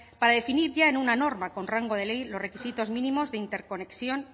para definir ya en una norma con rango de ley los requisitos mínimos de interconexión